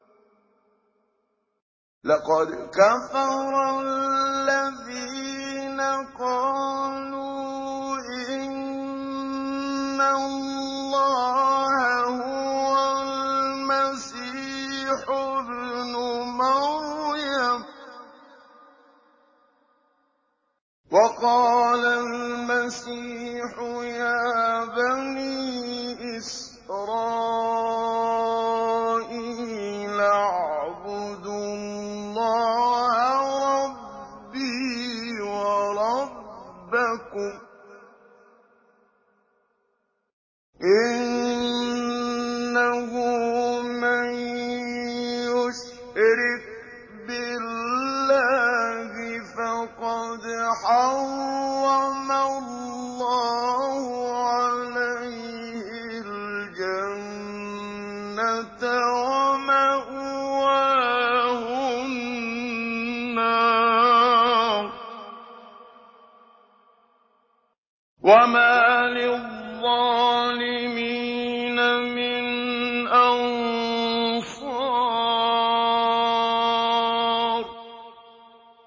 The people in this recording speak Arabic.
لَقَدْ كَفَرَ الَّذِينَ قَالُوا إِنَّ اللَّهَ هُوَ الْمَسِيحُ ابْنُ مَرْيَمَ ۖ وَقَالَ الْمَسِيحُ يَا بَنِي إِسْرَائِيلَ اعْبُدُوا اللَّهَ رَبِّي وَرَبَّكُمْ ۖ إِنَّهُ مَن يُشْرِكْ بِاللَّهِ فَقَدْ حَرَّمَ اللَّهُ عَلَيْهِ الْجَنَّةَ وَمَأْوَاهُ النَّارُ ۖ وَمَا لِلظَّالِمِينَ مِنْ أَنصَارٍ